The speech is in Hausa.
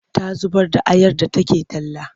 Ta zubar da ayar da take talla.